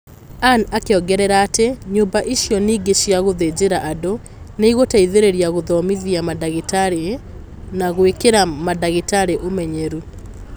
anne akiongerera atĩ "Nyũmba ici ningĩ cia gũthĩnjĩra andũ nĩ igũteithĩrĩria gũthomithia mandagĩtarĩ na gwĩkĩra mandagĩtarĩ ũmenyeru